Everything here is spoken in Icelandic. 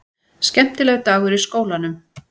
Skemmtilegur dagur í skólanum!